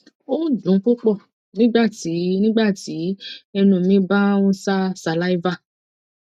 o n dun pupọ nigbati nigbati ẹnu mi ba n ṣa saliva